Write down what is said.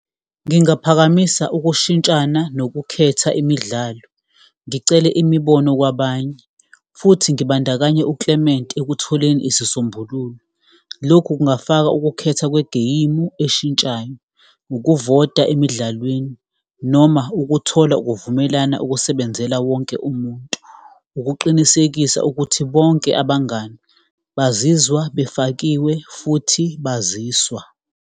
Ngingaphakamisa ukushintshana nokukhetha imidlalo, ngicele imibono kwabanye futhi ngibandakanye uClement ekutholeni isisombululo. Lokhu kungafaka ukukhetha kwegeyimu eshintshayo, ukuvota emidlalweni, noma ukuthola ukuvumelana ukusebenzela wonke umuntu, ukuqinisekisa ukuthi bonke abangani bazizwa befakiwe futhi baziswa.